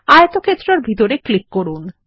আয়তক্ষেত্রের ভিতরে ক্লিক করুন